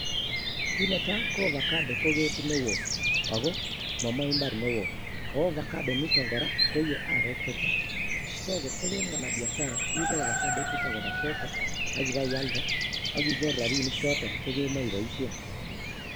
Kit netai KO ovaocado ko ketit neo ak momoche imbar neo, ak ovacado initon kora koiee areek chechang.so kot Ibo mungaret iibe avocado ichuton kobaa sokoo ak ibeialdee ak inyor rabinikchoton kemoche iboishien